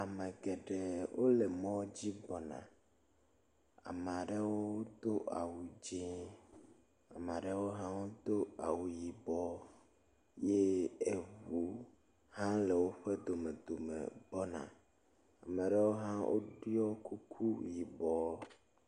Ame geɖe wo le mɔ dzi gbɔna. ame aɖewo do awu dzi. Ame aɖewo hã wodo awu yibɔ ye eŋu hã le woƒe domedome gbɔna. ame aɖewo hã woɖɔ kuku yibɔ.